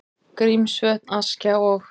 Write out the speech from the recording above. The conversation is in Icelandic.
Grímsvötn, Askja og